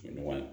Ɲɔgɔn ye